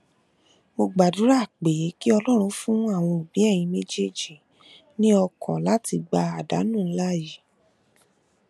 mo gbàdúrà pé kí ọlọrun fún àwọn òbí ẹyin méjèèjì ní ọkàn láti gba àdánù ńlá yìí